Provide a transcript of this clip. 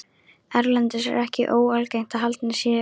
Erlendis er ekki óalgengt að haldnir séu um